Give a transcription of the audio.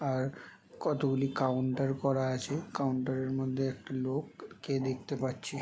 আর কতগুলি কাউন্টার করা আছে কাউন্টার -এর মধ্যে একটি লোক কে দেখতে পাচ্ছি।